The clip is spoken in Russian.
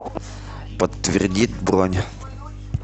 подтвердить бронь